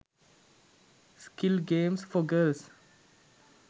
skill games for girls